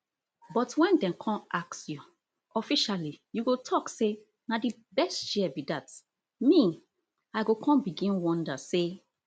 but wen dem con ask you officially you go tok say na di best chair be dat me i go con begin wonder say